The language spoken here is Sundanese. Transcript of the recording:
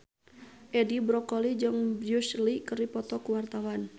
Edi Brokoli jeung Bruce Lee keur dipoto ku wartawan